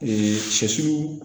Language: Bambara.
sɛsiw